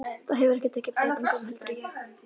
Það hefur ekki tekið breytingum, heldur ég.